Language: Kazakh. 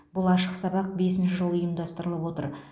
бұл ашық сабақ бесінші жыл ұйымдастырылып отыр